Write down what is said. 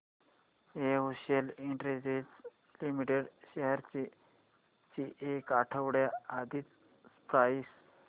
Excel industries limited shares ची एक आठवड्या आधीची प्राइस